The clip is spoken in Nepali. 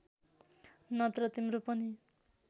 नत्र तिम्रो पनि